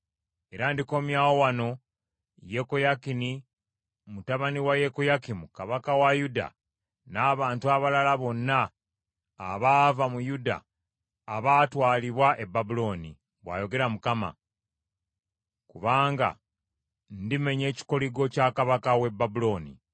Era ndikomyawo wano Yekoyakini mutabani wa Yekoyakimu kabaka wa Yuda n’abantu abalala bonna abaava mu Yuda abaatwalibwa e Babulooni,’ bw’ayogera Mukama , ‘kubanga ndimenya ekikoligo kya kabaka w’e Babulooni.’ ”